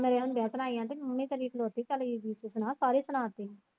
ਮੇਰੇ ਹੁੰਦਿਆਂ ਸੁਣਾਈ ਆਂਟੀ ਮੰਮੀ ਮੇਰੀ ਖਲੋਤੇ ਚੱਲਗੀ ਮੈ ਕਿਹਾ ਕਾਦੀ ਸੁਣਾਤੀ ਸੀ।